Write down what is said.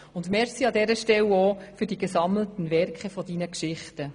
Und vielen Dank an dieser Stelle auch für die «Gesammelten Werke» deiner Geschichten.